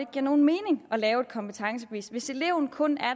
giver nogen mening at lave et kompetencebevis hvis eleven kun